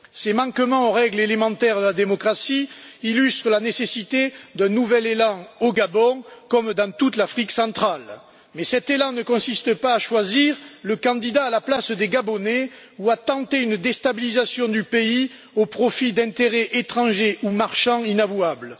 Ces manquements aux règles élémentaires de la démocratie illustrent la nécessité d'un nouvel élan au Gabon comme dans toute l'Afrique centrale, mais cet élan ne consiste pas à choisir le candidat à la place des Gabonais ou à tenter une déstabilisation du pays au profit d'intérêts étrangers ou marchands inavouables.